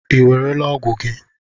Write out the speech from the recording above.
Ị ewerela ọgwụ gị?